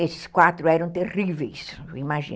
Esses quatro eram terríveis, imagino.